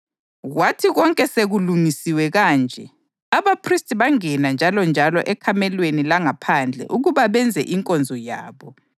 Kwathi konke sekulungisiwe kanje, abaphristi bangena njalonjalo ekamelweni langaphandle ukuba benze inkonzo yabo.